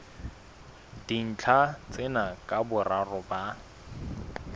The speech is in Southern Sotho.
dintlha tsena ka boraro ba